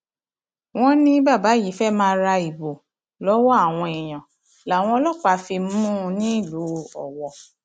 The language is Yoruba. wọn ní bàbá yìí fẹẹ máa ra ìbò lọwọ àwọn èèyàn làwọn ọlọpàá fi mú un nílùú owó